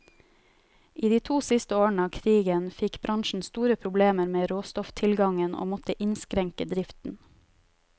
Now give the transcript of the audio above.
I de to siste årene av krigen fikk bransjen store problemer med råstofftilgangen, og måtte innskrenke driften.